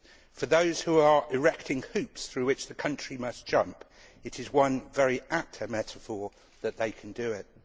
For those who are erecting hoops through which the country must jump, it is one very apt metaphor that they can do it.